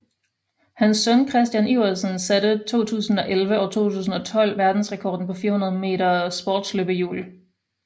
Hans søn Christian Iversen satte 2011 og 2012 verdensrekord på 400 meter sportsløbehjul